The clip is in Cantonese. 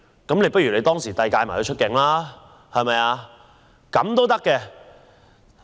倒不如當時便把他遞解出境，對嗎？